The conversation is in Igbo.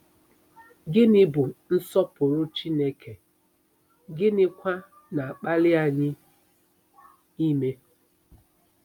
Gịnị bụ nsọpụrụ Chineke, gịnịkwa na-akpali anyị ime?